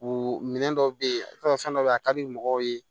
U minɛ dɔ bɛ yen i b'a sɔrɔ fɛn dɔ bɛ yen a ka di mɔgɔw ye